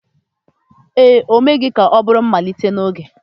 ee, o meghị ka ọ bụrụ mmalite n'oge.